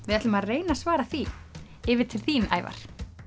við ætlum að reyna að svara því yfir til þín Ævar